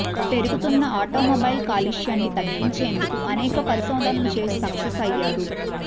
పెరుగుతున్న ఆటోమొబైల్ కాలుష్యాన్ని తగ్గించేందుకు అనేక పరిశోధనలు చేసి సక్సెస్ అయ్యారు